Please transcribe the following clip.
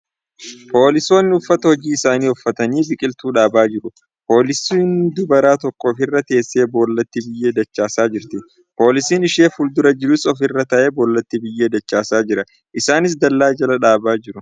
Poolisoonni uffata hojii isaanii uffatanii biqiltuu dhaabaa jiru. Poolisiin dubaraa takka ofirra teessee boollatti biyyee dachaasaa jirti. Poolisiin ishee fuuldura jirus ofirra taa'ee boollatti biyyee dachaasaa jira. Isaanis dallaa jala dhaabaa jiru.